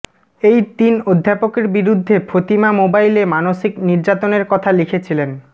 এই তিন অধ্যাপকের বিরুদ্ধে ফতিমা মোবাইলে মানসিক নির্যাতনের কথা লিখেছিলেন